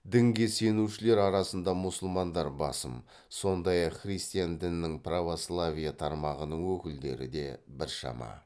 дінге сенушілер арасында мұсылмандар басым сондай ақ христиан дінінің православие тармағының өкілдері де біршама